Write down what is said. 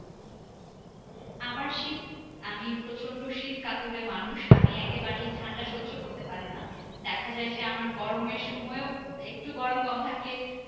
আমার শীত, আমি প্রচন্ড শীত কাতুরে মানুষ আমি একে বারেই ঠান্ডা সহ্য করতে পারি না দেখা যাই যে আমার গরমের সময় ও একটু গরম কম থাকলে